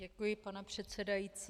Děkuji, pane předsedající.